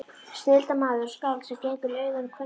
Snilldarmaður og skáld sem gengur í augun á kvenfólkinu.